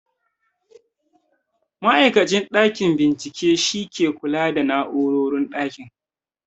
Ma'aikacin ɗakin bincike shi ke kula da na'urorin ɗakin